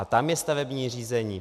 A tam je stavební řízení.